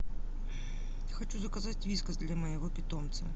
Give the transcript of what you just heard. хочу заказать вискас для моего питомца